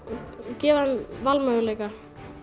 gefa þeim valmöguleika